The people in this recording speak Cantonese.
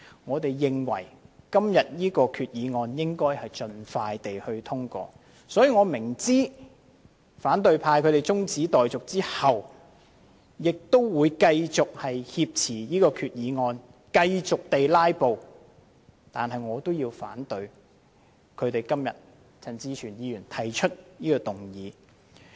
我們認為決議案應盡快獲得通過，我亦明知反對派在提出中止待續議案後，還會繼續挾持決議案、繼續"拉布"，但我要表明反對陳志全議員提出的中止待續議案。